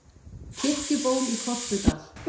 Kirkjuból í Korpudal.